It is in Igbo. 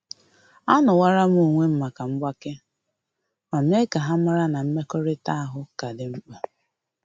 Anowalam onwem maka mgbake, ma mee ka ha mara na mmekọrịta ahụ ka dị mkpa